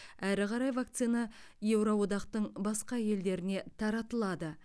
әрі қарай вакцина еуроодақтың басқа елдеріне таратылады